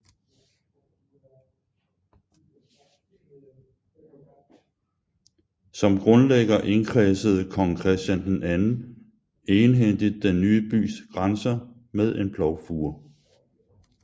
Som grundlægger indkredsede kong Christian II egenhændigt den ny bys grænser med en plovfure